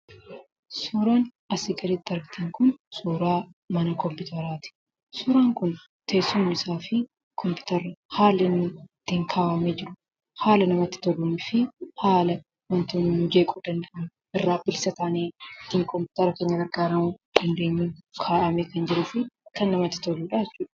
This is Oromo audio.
Suuraan asii gaditti argaa jirtan kun suuraa mana kompiyuteraati. Suuraan kun teessumni isaafi kompiyutarri haalli itti kaa'amee jiru haala namitti toluunifi haala wantoonni nama jeequ danda'an irraa bilisa taanee kompiyutera keenya itti fayyadamuu dandeenyuun kaa'amee kan jiruufi kan namatti toludha.